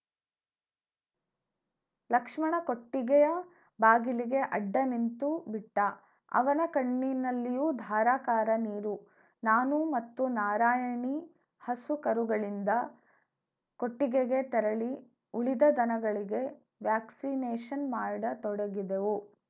ಲಕ್ಷ್ಮಣ ಕೊಟ್ಟಿಗೆಯ ಬಾಗಿಲಿಗೆ ಅಡ್ಡನಿಂತುಬಿಟ್ಟ ಅವನ ಕಣ್ಣಿನಲ್ಲಿಯೂ ಧಾರಾಕಾರ ನೀರು ನಾನು ಮತ್ತು ನಾರಾಯಣಿ ಹಸು ಕರುಗಳಿಂದ್ದ ಕೊಟ್ಟಿಗೆಗೆ ತೆರಳಿ ಉಳಿದ ದನಗಳಿಗೆ ವ್ಯಾಕ್ಸಿನೇಶನ್‌ ಮಾಡತೊಡಗಿದೆವು